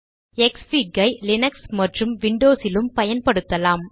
க்ஸ்ஃபிக் ஐ லினக்ஸ் மற்றும் விண்டோஸ் லும் பயன்படுத்தலாம்